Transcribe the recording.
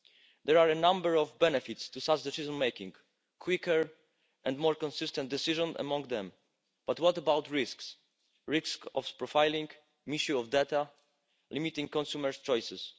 There are a number of benefits to such decision making a quicker and more consistent decision among them but what about risks, the risk of profiling, misuse of data, limiting consumers' choices.